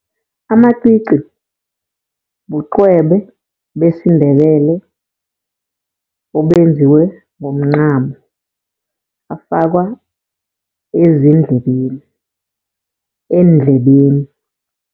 Amacici, buqwebe besiNdebele obenziwe ngomncamo. Afakwa ezindlebeni, eendlebeni.